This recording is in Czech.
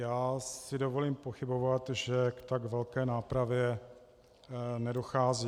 Já si dovolím pochybovat, že k tak velké nápravě nedochází.